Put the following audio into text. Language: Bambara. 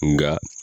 Nka